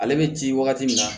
Ale bɛ ci wagati min na